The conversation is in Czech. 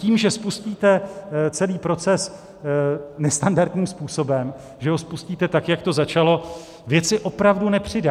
Tím, že spustíte celý proces nestandardním způsobem, že ho spustíte, tak jak to začalo, věci opravdu nepřidá.